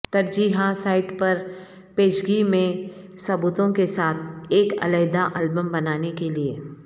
ترجیحا site پر پیشگی میں ثبوتوں کے ساتھ ایک علیحدہ البم بنانے کے لئے